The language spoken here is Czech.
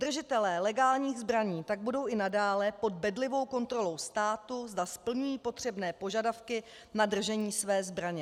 Držitelé legálních zbraní tak budou i nadále pod bedlivou kontrolou státu, zda splňují potřebné požadavky na držení své zbraně.